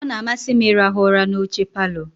Ọ na-amasị m ịrahụ ụra n'oche palọ.